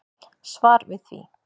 Svar við því.